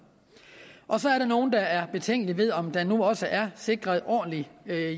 og så er der nogle der er betænkelige over om der nu også er sikret en ordentlig